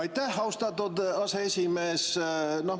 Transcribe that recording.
Aitäh, austatud aseesimees!